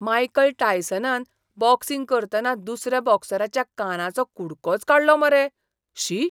Michael टायसनान boxing करतना दुसऱ्या बॉक्सराच्या कानाचो कुडकोच काडलो मरे. शी!